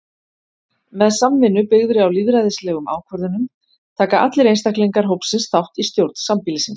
Með samvinnu byggðri á lýðræðislegum ákvörðunum taka allir einstaklingar hópsins þátt í stjórn sambýlisins.